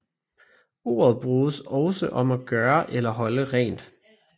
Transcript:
Ordet bruges også om at gøre eller holde rent